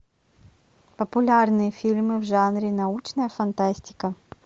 популярные фильмы в жанре научная фантастика